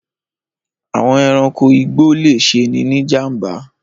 Àwọn ẹranko igbó le ṣeni ní ìjàm̀ba.